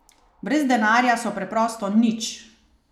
Brez denarja so preprosto nič!